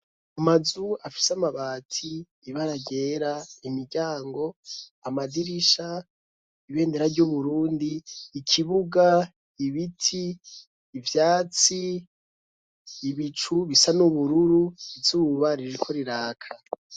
Amazu afise amabati, ibara ryera, imiryango, amadirisha, ibendera ry'uburundi, ikibuga, ibiti, ivyatsi, ibicu bisa n'ubururu. Izuba ririko riraka.